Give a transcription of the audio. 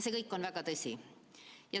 See kõik on tõsi.